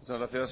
muchas gracias